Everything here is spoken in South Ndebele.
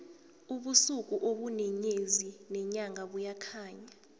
ubusuku ubune nyezi nenyanga buyakhanya